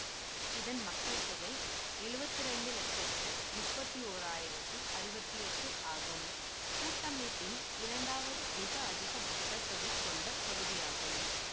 இதன் மக்கள் தொகை எழுவத்தி இரண்டு லட்சத்தி முப்பத்தி ஓர் ஆயிரத்தி அறுபத்தி எட்டு ஆகும் கூட்டமைப்பின் இரண்டாவது மிக அதிக மக்கள் தொகை கொண்ட பகுதியாகும்